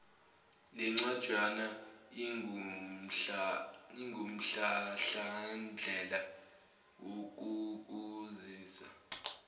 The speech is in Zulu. lencwajana ingumhlahlandlela wokukusiza